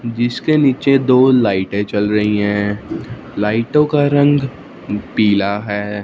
जिसके नीचे दो लाइटे चल रही है लाइटों का रंग पीला है।